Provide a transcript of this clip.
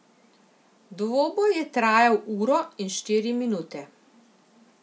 Dvoboj je trajal uro in štiri minute.